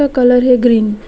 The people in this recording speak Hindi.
ये कलर है ग्रीन ।